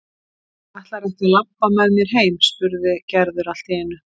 Ætlarðu ekki að labba með mér heim? spurði Gerður allt í einu.